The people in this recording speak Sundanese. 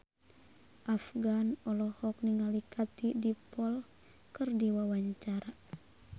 Afgan olohok ningali Katie Dippold keur diwawancara